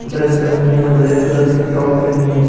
Dress पहनी है black colour की टॉप पहनी है।